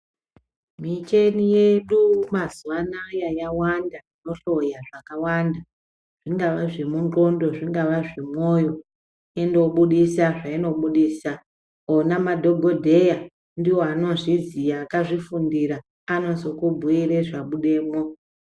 Micheni yedu mazuva anaya yawanda ino hloya zvaka wanda zvingava zvemu ndxondo zvingava zve moyo ino budisa zvaino budisa ona madhokodheya ndiwo ano zviziya akazvi fundira anozoku bhuire zva budemwo.